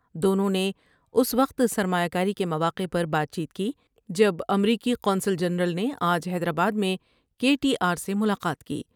دونوں نے اس وقت سرمایہ کاری کے مواقع پر بات چیت کی جب امریکی قونصل جنرل نے آج حیدرآباد میں کے ٹی آر سے ملاقات کی ۔